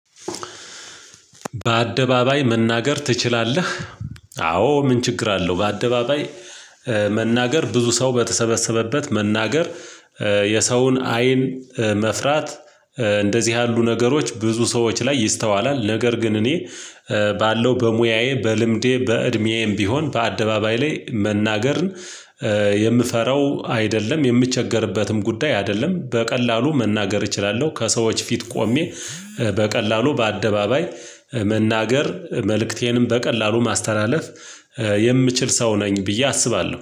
በአደባባይ መናገር ትችላለህ አዎ ምን ችግር አለው? በአደባባይ ብዙ ሰው በተሰበሰበበት መናገር የሰውን አይን መፍራት እንደዚህ ያሉ ነገሮች ብዙ ሰዎች ላይ ይስተዋላል። ነገር ግን እኔ ባለው በሙያዬ በልምዴ በእድሜዬም ቢሆን በአደባባይ ላይ መናገርን የምፈራው አይደለም የምቸገርበትም ጉዳይ አይደለም በቀላሉ መናገር እችላለሁ። ከሰዎች ፊት ቆሜ በቀላሉ በአደባባይ መናገር መልእክቴንም በቀላሉ ማስተላለፍ የምችል ሰው ነኝ ብዬ አስባለሁ